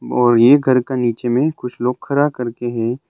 और ये घर का नीचे में कुछ लोग खरा करके है।